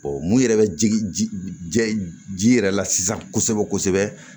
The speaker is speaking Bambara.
mun yɛrɛ bɛ jigin ji jɛ ji yɛrɛ la sisan kosɛbɛ kosɛbɛ